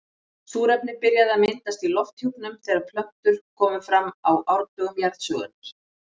Súrefni byrjaði að myndast í lofthjúpnum þegar plöntur komu fram á árdögum jarðsögunnar.